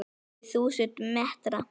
Kannski þúsund metra?